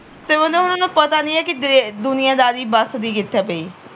ਤੇ ਉਹਨਾਂ ਨੂੰ ਨਾ ਪਤਾ ਨਹੀਂ ਆ ਦੁਨੀਆਂ ਦਾਰੀ ਵੱਸਦੀ ਕਿੱਥੇ ਪਈ